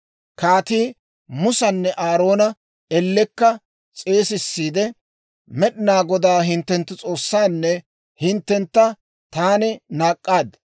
Kaatii Musanne Aaroona ellekka s'eesissiide, «Med'inaa Godaa hinttenttu S'oossanne hinttentta taani naak'k'aad;